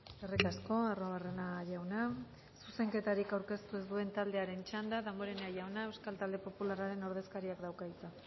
eskerrik asko arruabarrena jauna zuzenketarik aurkeztu ez duen taldearen txanda damborenea jauna euskal talde popularraren ordezkariak dauka hitza